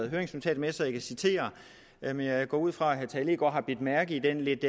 høringsnotatet med så jeg kan citere men jeg går ud fra at herre tage leegaard har bidt mærke i den lidt